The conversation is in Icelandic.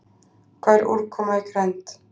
Hvað er úrkoma í grennd?